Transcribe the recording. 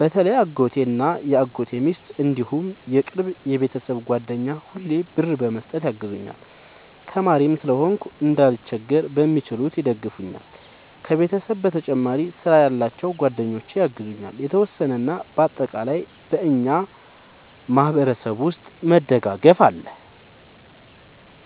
በተለይ አጎቴ እና የአጎቴ ሚስት እንዲሁም የቅርብ የቤተሰብ ጓደኛ ሁሌ ብር በመስጠት ያግዙኛል። ተማሪም ስለሆንኩ እንዳልቸገር በሚችሉት ይደግፈኛል። ከቤተሰብ በተጨማሪ ስራ ያላቸው ጓደኞቼ ያግዙኛል የተወሰነ። እና በአጠቃላይ በእኛ ማህበረሰብ ውስጥ መደጋገፍ አለ